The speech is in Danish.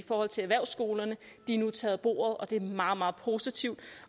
forhold til erhvervsskolerne er nu taget af bordet det er meget meget positivt